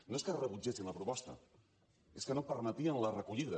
no és que rebutgessin la proposta és que no permetien la recollida